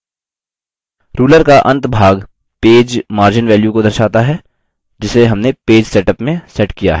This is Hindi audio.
ruler का अंतभाग पेज margin values को दर्शाता है जिसे हमने page setup में set किया है